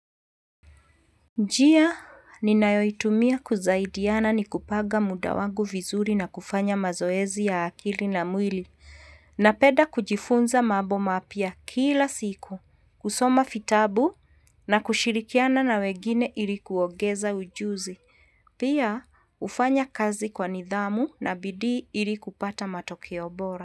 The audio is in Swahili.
Njia, ninayoitumia kusaidiana ni kupanga muda wangu vizuri na kufanya mazoezi ya akili na mwili. Napenda kujifunza mambo mapya kila siku, kusoma vitabu na kushirikiana na wengine ili kuongeza ujuzi. Pia, ufanya kazi kwa nidhamu na bidii ilikupata matokeo bora.